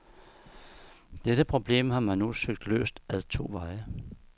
Dette problem har man nu søgt løst ad to veje.